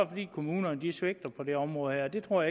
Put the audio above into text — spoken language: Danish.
fordi kommunerne svigter på det område her og det tror